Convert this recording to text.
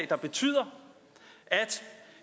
der betyder at